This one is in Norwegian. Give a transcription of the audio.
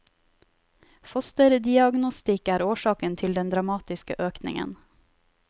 Fosterdiagnostikk er årsaken til den dramatiske økningen.